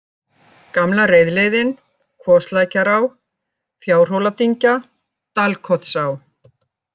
Gamla reiðleiðin, Kvoslækjará, Fjárhóladyngja, Dalkotsá